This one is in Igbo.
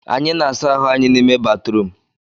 Anyị na-asa ahụ anyị n'ime batrum